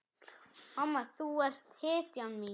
Mamma, þú ert hetjan mín.